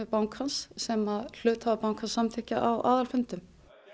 bankans sem hluthafar bankans samþykkja á aðalfundum